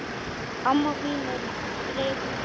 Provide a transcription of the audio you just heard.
Amma mín í Brekku.